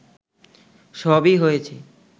সবই হয়েছে